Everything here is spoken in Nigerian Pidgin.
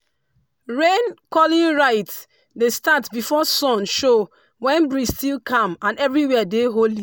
rain-calling rite dey start before sun show when breeze still calm and everywhere dey holy.